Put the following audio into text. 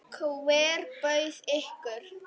Hver bauð ykkur?